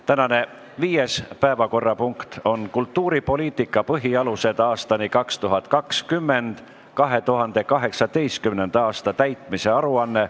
Tänane viies päevakorrapunkt on "Kultuuripoliitika põhialused aastani 2020" 2018. aasta täitmise aruanne.